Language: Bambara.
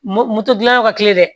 Mo moto dilan yɔrɔ ka teli dɛ